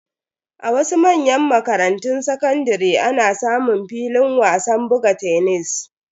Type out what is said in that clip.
A wasu manyan makarantun sakandare ana samun filin wasan buga tenis.